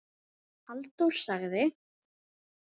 Halldór sagði